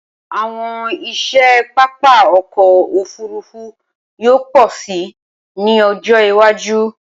Awọn iṣẹ papa ọkọ ofurufu yoo pọ si ni ọjọ iwaju.